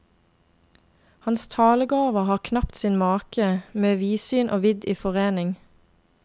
Hans talegaver har knapt sin make, med vidsyn og vidd i forening.